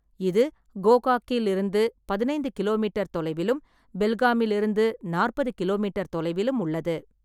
இது கோகாக்கில் இருந்து பதினைந்து கிலோமீட்டர் தொலைவிலும், பெல்காமில் இருந்து நாற்பது கிலோமீட்டர் தொலைவிலும் உள்ளது.